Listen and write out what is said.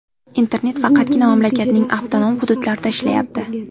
Internet faqatgina mamlakatning avtonom hududlarida ishlayapti.